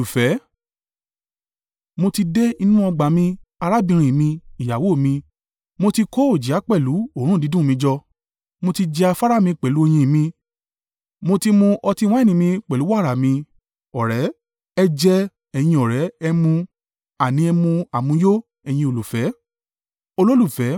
Mo ti dé inú ọgbà mi, arábìnrin mi, ìyàwó mi; mo ti kó òjìá pẹ̀lú òórùn dídùn mi jọ. Mo ti jẹ afárá mi pẹ̀lú oyin mi; mo ti mu ọtí wáìnì mi pẹ̀lú wàrà mi. Ọ̀rẹ́ Ẹ jẹ, ẹ̀yin ọ̀rẹ́, ẹ mu, àní ẹ mu àmuyó, ẹ̀yin olùfẹ́.